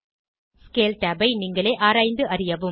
scale tab ஐ நீங்களே ஆராய்ந்து அறியவும்